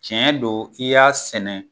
Tiɲɛ don i y'a sɛnɛ.